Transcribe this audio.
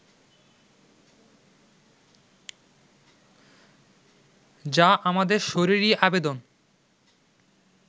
যা আমাদের শরীরী আবেদন